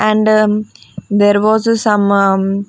and um there was some um --